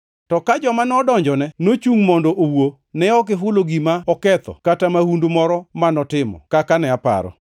To ka joma nodonjone nochungʼ mondo owuo, ne ok gihulo gima oketho kata mahundu moro ma notimo kaka ne aparo.